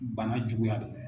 Bana juguya dɔn.